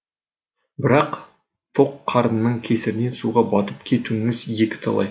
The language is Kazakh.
бірақ тоқ қарнының кесірінен суға батып кетуіңіз екі талай